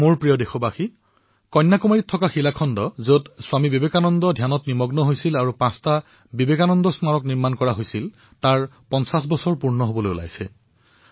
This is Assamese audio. মোৰ মৰমৰ দেশবাসীসকল কন্যাকুমাৰীত যি শিলাৰ ওপৰত স্বামী বিবেকানন্দই ধ্যানমগ্ন হৈছিল তাত যি বিবেকানন্দ ৰক মেমৰিয়েল আছে তাৰে পঞ্চাশ বৰ্ষ পূৰণ হোৱাৰ পথত আগবাঢ়িছে